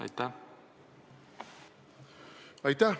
Aitäh!